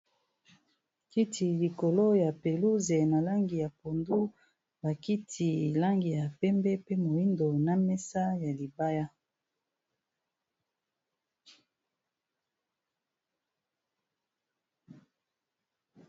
Kiti likolo ya peluze na langi ya pondu ba kiti langi ya pembe pe moyindo na mesa ya libaya.